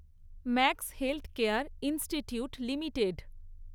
max Healthcare Institute limited